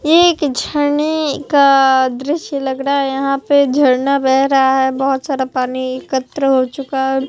एक झरने का दृश्य लग रहा है यहां पे झरना बह रहा है बहुत सारा पानी एकत्र हो चुका है।